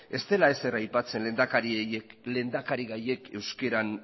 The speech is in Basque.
ez dela ezer aipatzen lehendakarigaiek euskaran